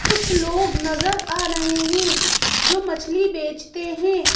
कुछ लोग नजर आ रहे हैं जो मछली बेचते हैं।